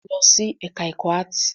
Lọ sí ẹ̀ká ẹ̀kọ́ áàtì!